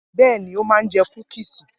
Bẹ́ẹ̀ ni, ó máa jẹ kúkísì.